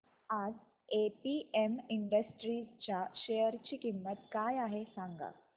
आज APM industries च्या share ची किंमत काय आहे सांगा